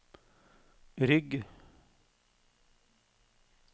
rygg